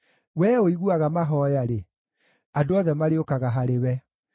Wee ũiguaga mahooya-rĩ, andũ othe marĩũkaga harĩwe.